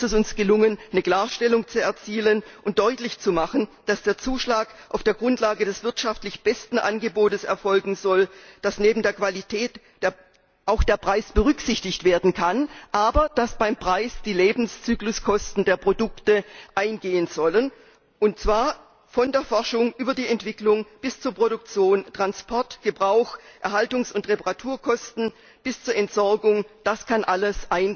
Hier ist es uns gelungen, eine Klarstellung zu erzielen und deutlich zu machen, dass der Zuschlag auf der Grundlage des wirtschaftlich besten Angebots erfolgen soll, dass neben der Qualität auch der Preis berücksichtigt werden kann, aber dass beim Preis die Lebenszykluskosten der Produkte eingehen sollen, und zwar von der Forschung über die Entwicklung bis zu Produktion, Transport, Gebrauch, Erhaltungs und Reparaturkosten und Entsorgung das kann alles